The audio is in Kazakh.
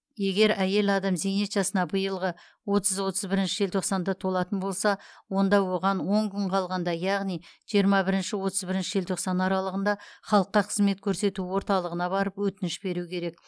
егер әйел адам зейнет жасына биылғы отыз отыз бірінші желтоқсанда толатын болса онда оған он күн қалғанда яғни жиырма бірінші отыз бірінші желтоқсан аралығында халыққа қызмет көрсету орталығына барып өтініш беруі керек